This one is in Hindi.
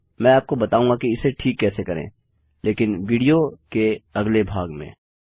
मैं आपको बताऊंगा कि इसे ठीक कैसे करें लेकिन विडियो एक अगले भाग में